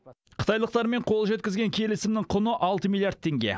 қытайлықтармен қол жеткізген келісімнің құны алты миллиард теңге